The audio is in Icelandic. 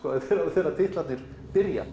þegar titlarnir byrja